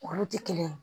Olu tɛ kelen ye